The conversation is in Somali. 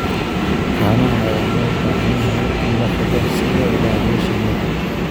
Caanaha ayaa loo baahan yahay in la xidho si loo ilaaliyo shinida.